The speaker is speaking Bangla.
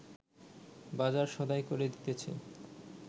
বাজার সদাই করে দিতেছে